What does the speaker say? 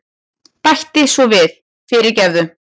Bæti svo við, fyrirgefðu.